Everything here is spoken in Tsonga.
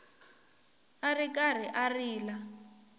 a ri karhi a rila